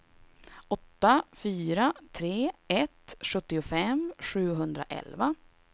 åtta fyra tre ett sjuttiofem sjuhundraelva